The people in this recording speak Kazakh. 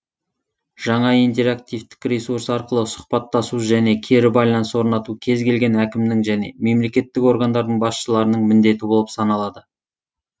жаңа интерактивтік ресурс арқылы сұхбаттасу және кері байланыс орнату кез келген әкімнің және мемлекеттік органдардың басшыларының міндеті болып саналады